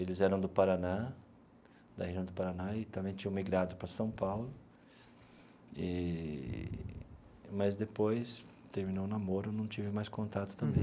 Eles eram do Paraná, da região do Paraná, e também tinham migrado para São Paulo, eee mas depois terminou o namoro, não tive mais contato também.